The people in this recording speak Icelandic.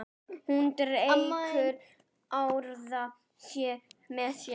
Hún dregur aðra með sér.